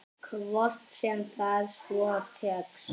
Hvort sem það svo tekst.